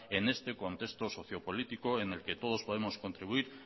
en este contexto socio político en el que todos podemos contribuir